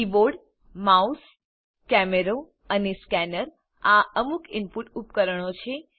keyboard mouse કેમેરો અને scanner આ અમુક ઇનપુટ ઉપકરણો છે